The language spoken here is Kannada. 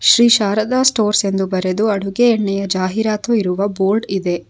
ಶ್ರೀ ಶಾರದಾ ಸ್ಟೋರ್ಸ್ ಎಂದು ಬರೆದು ಅಡುಗೆ ಎಣ್ಣೆಯ ಜಾಹಿರಾತು ಇರುವ ಬೋರ್ಡ್ ಇದೆ.